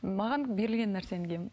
маған берілген нәрсені киемін